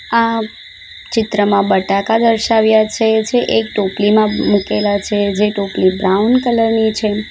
આ ચિત્રમાં બટાકા દર્શાવ્યા છે જે એક ટોપલીમાં મુકેલા છે જે ટોપલી બ્રાઉન કલર ની છે.